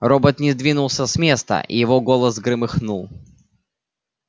робот не сдвинулся с места и его голос громыхнул